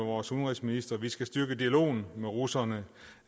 vores udenrigsminister vi skal styrke dialogen med russerne